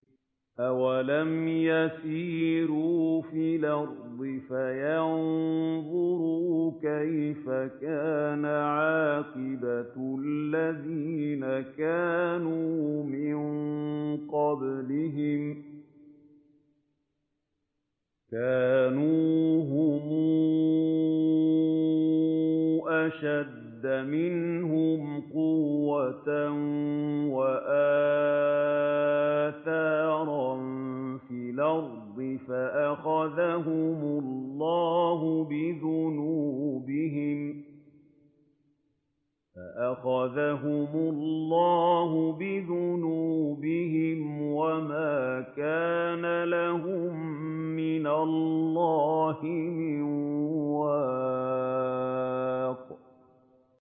۞ أَوَلَمْ يَسِيرُوا فِي الْأَرْضِ فَيَنظُرُوا كَيْفَ كَانَ عَاقِبَةُ الَّذِينَ كَانُوا مِن قَبْلِهِمْ ۚ كَانُوا هُمْ أَشَدَّ مِنْهُمْ قُوَّةً وَآثَارًا فِي الْأَرْضِ فَأَخَذَهُمُ اللَّهُ بِذُنُوبِهِمْ وَمَا كَانَ لَهُم مِّنَ اللَّهِ مِن وَاقٍ